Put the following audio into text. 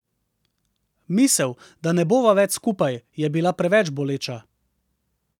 Misel, da ne bova več skupaj, je bila preveč boleča.